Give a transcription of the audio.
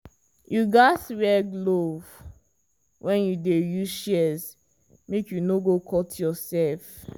you gats wear glove when you dey use shears make you no go cut yourself.